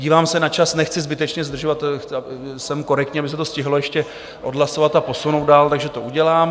Dívám se na čas, nechci zbytečně zdržovat, jsem korektní, aby se to stihlo ještě odhlasovat a posunout dál, takže to udělám.